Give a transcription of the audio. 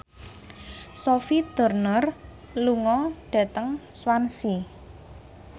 Sophie Turner lunga dhateng Swansea